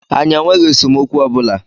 Anyi enweghi esemokwu ọbụla